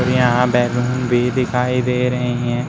और यहां बैलून भी दिखाई दे रही हैं।